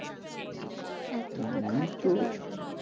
এত তো খাটতে পারবি নি।